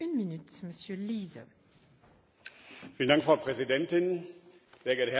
Frau Präsidentin, sehr geehrte Herren Vizepräsidenten, meine Damen und Herren!